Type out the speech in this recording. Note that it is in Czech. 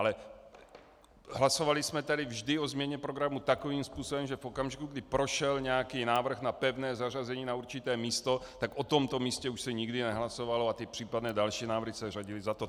Ale hlasovali jsme tady vždy o změně programu takovým způsobem, že v okamžiku, kdy prošel nějaký návrh na pevné zařazení na určité místo, tak o tomto místě se už nikdy nehlasovalo a ty případné další návrhy se řadily za to.